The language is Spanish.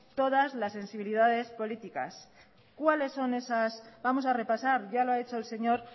todas las sensibilidades políticas cuáles son esas vamos a repasar ya lo ha hecho el señor